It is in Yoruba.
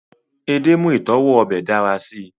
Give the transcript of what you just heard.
ede mu itọwo obe dara si